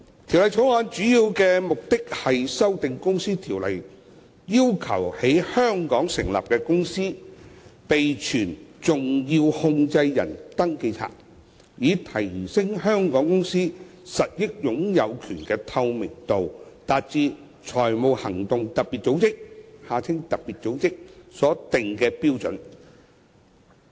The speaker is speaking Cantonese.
《條例草案》的主要目的是修訂《公司條例》，要求在香港成立的公司備存重要控制人登記冊，以提升香港公司實益擁有權的透明度，達致財務行動特別組織所定的標準。